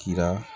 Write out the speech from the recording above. Kira